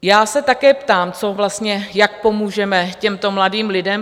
Já se také ptám, co vlastně, jak pomůžeme těmto mladým lidem?